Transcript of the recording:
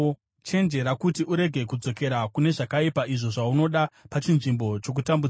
Chenjera kuti urege kudzokera kune zvakaipa, izvo zvaunoda pachinzvimbo chokutambudzika.